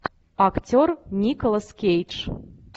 актер николас кейдж